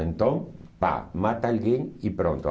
Então, tá, mata alguém e pronto.